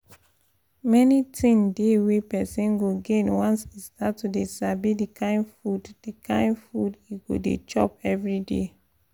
many thing dey wey person go gain once e start to dey sabi the kkind food the kkind food e go dey chop every day